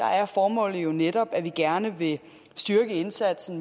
er formålet jo netop at vi gerne vil styrke indsatsen